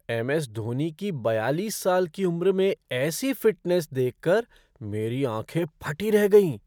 M S Dhoni की बयालीस साल की उम्र में ऐसी फ़िटनेस देखकर मेरी आँखें फटी रह गईं।